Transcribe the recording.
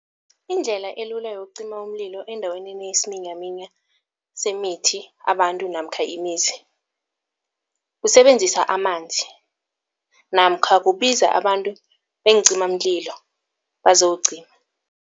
Indlela elula yokuqima umlilo endaweni enesiminyaminya semithi, abantu namkha imizi kusebenzisa amanzi namkha kubiza abantu beenqimamlilo bazowuqima.